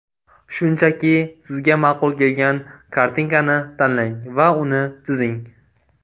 Shunchaki, sizga ma’qul kelgan kartinkani tanlang va uni chizing.